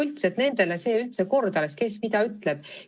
Nendele ei lähe see üldse korda, kes mida ütleb.